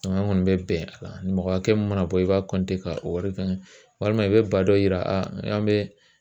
An kɔni bɛ bɛn a la nin mɔgɔ hakɛ min mana bɔ , i b'a ka o wari kan walima i bɛ ba dɔ yira an bɛ